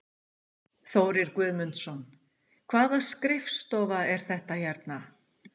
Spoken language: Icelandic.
Þórir Guðmundsson: Hvaða skrifstofa er þetta hérna?